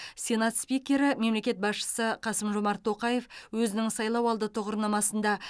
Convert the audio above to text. сенат спикері мемлекет басшысы қасым жомарт тоқаев өзінің сайлауалды тұғырнамасында